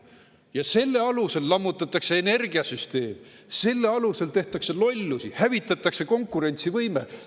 Ja selle alusel lammutatakse energiasüsteemi, selle alusel tehakse lollusi, hävitatakse konkurentsivõimet.